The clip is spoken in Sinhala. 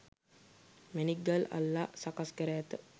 මැණික් ගල් අල්ලා සකස් කර ඇත.